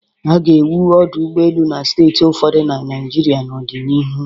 A ga-ewu ọdụ ụgbọelu na steeti ụfọdụ na Naịjirịa n'ọdịnihu.